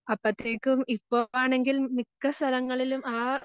അപ്പഴത്തേയ്ക്കും ഇപ്പമാണെങ്കിൽ മിക്ക സ്ഥലങ്ങളിലും ആ